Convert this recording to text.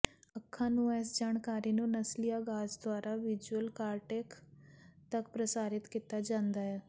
ਅੱਖਾਂ ਨੂੰ ਇਸ ਜਾਣਕਾਰੀ ਨੂੰ ਨਸਲੀ ਆਗਾਜ਼ ਦੁਆਰਾ ਵਿਜ਼ੂਅਲ ਕਾਰਟੇਕ ਤਕ ਪ੍ਰਸਾਰਿਤ ਕੀਤਾ ਜਾਂਦਾ ਹੈ